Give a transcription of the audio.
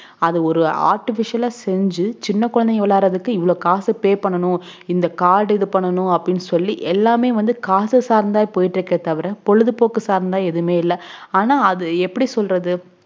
அது ஒரு artificial ஆ செஞ்சு சின்ன குழந்தைங்க விளையாடுறதுக்கு இவ்ளோ காசு pay பண்ணனும் இந்த card இது பண்ணனும் அப்புடின்னு சொல்லி எல்லாமே காசு சார்ந்த போயிட்டு இருக்குதவிர பொழுதுபோக்கு சார்ந்த எதுமே இல்ல ஆனா அது எப்புடி சொல்லறது